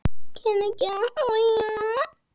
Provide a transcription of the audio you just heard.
Efst trónir rauði örninn.